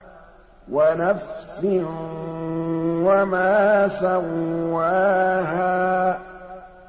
وَنَفْسٍ وَمَا سَوَّاهَا